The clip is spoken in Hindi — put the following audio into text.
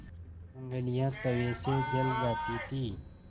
ऊँगलियाँ तवे से जल जाती थीं